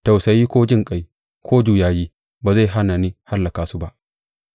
Tausayi ko jinƙai, ko juyayi ba zai hana ni hallaka su ba.’